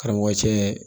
Karamɔgɔcɛ